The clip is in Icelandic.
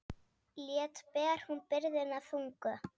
Létt ber hún byrðina þungu.